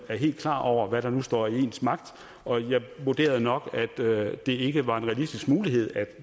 er helt klar over hvad der står i ens magt og jeg vurderede nok at det ikke var en realistisk mulighed at